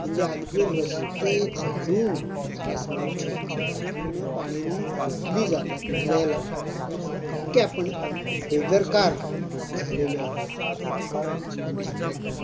म्हणजे अगदी रास्ते झाडून घरासमोरचे आंगणं पाण्यानं धुतली जातात नळ लाऊन इतके आपण बेदरकार झालेले आहोत. पण जेव्हा